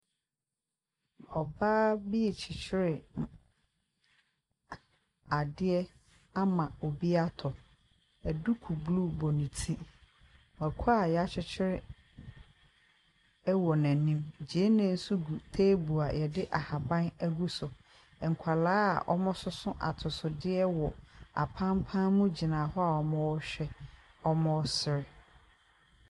Ɔbaa bi kyekyere adeɛ ama obi atɔ duku bluu bɔ ne ti. Mako a yɛ akyekyere ɛwɔ n'anim, gyene nso gu teebol a yɛde ahaban egu so. Nkɔla a ɔmo so so atosodeɛ wɔ apampam mu gyina hɔ a ɔmo sere.